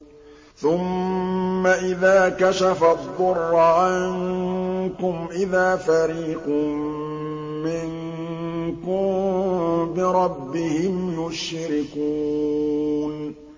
ثُمَّ إِذَا كَشَفَ الضُّرَّ عَنكُمْ إِذَا فَرِيقٌ مِّنكُم بِرَبِّهِمْ يُشْرِكُونَ